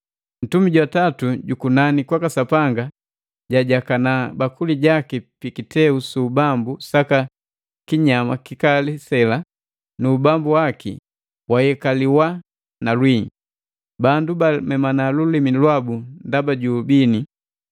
Ntumi jwa tatu jukunani kwaka Sapanga jajakana bakuli jaki pi kiteu su ubambu saka kinyama kikali sela, nu ubambu waki wayekaliwa na lwii. Bandu bamemana lulimi lwabu ndaba ju ubini,